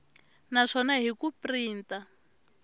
na swona hi ku printa